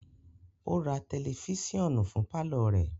O ra tẹlifisiọnu fún parlor rẹ